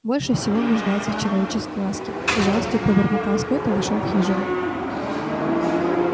больше всего он нуждается в человеческой ласке с жалостью пробормотал скотт и вошёл в хижину